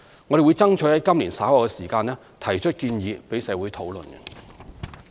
我們會爭取在今年稍後時間提出建議供社會討論。